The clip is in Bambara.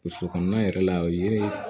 Burusi kɔnɔna yɛrɛ la o yiri